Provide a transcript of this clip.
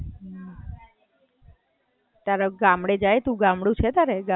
તારે ગામડે જાય તું, ગામડું છે તારે, ગામડે ઘર?